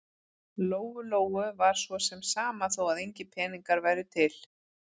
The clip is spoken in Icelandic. Lóu-Lóu var svo sem sama þó að engir peningar væru til.